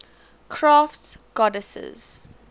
crafts goddesses